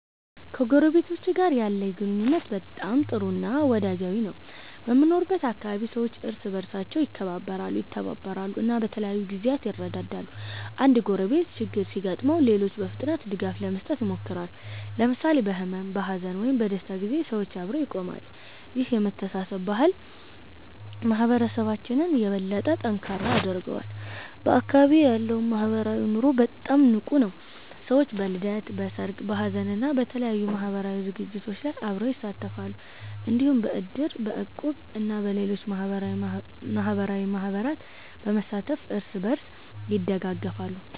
ከጎረቤቶቼ ጋር ያለኝ ግንኙነት በጣም ጥሩ እና ወዳጃዊ ነው። በምኖርበት አካባቢ ሰዎች እርስ በርሳቸው ይከባበራሉ፣ ይተባበራሉ እና በተለያዩ ጊዜያት ይረዳዳሉ። አንድ ጎረቤት ችግር ሲያጋጥመው ሌሎች በፍጥነት ድጋፍ ለመስጠት ይሞክራሉ። ለምሳሌ በሕመም፣ በሐዘን ወይም በደስታ ጊዜ ሰዎች አብረው ይቆማሉ። ይህ የመተሳሰብ ባህል ማህበረሰባችንን የበለጠ ጠንካራ ያደርገዋል። በአካባቢዬ ያለው ማህበራዊ ኑሮም በጣም ንቁ ነው። ሰዎች በልደት፣ በሰርግ፣ በሀዘን እና በተለያዩ ማህበራዊ ዝግጅቶች ላይ አብረው ይሳተፋሉ። እንዲሁም በእድር፣ በእቁብ እና በሌሎች ማህበራዊ ማህበራት በመሳተፍ እርስ በርስ ይደጋገፋሉ።